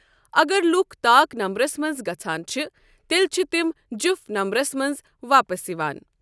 اگر لوٗکھ طاق نمبرَس منٛز گژھَان چھِ تیٚلہِ چھِ تِم جُفت نمبرَس منٛز واپس یِوان۔